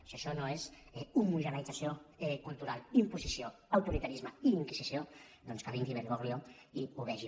si això no és homogeneïtzació cultural imposició autoritarisme i inquisició doncs que vingui bergoglio i ho vegi